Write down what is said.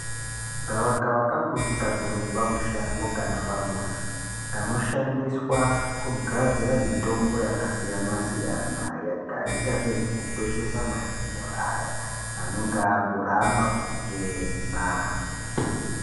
Gavakava kambuti kanoonekwa mushango kana pamuzi kanoshandiswa kugadzira mitombo yakasiyana-siyana, yakaita sezvekukweshesa mazino akaita seaya anenge akuramba kuchena.